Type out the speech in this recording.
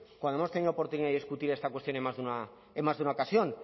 cuando hemos tenido oportunidad de discutir esta cuestión en más de una ocasión